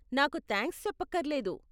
నాకు థాంక్స్ చెప్పక్కరలేదు .